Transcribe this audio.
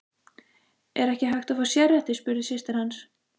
Er ekki hægt að fá sérrétti, spurði systir hans.